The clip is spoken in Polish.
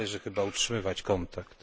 Należy chyba utrzymywać kontakt.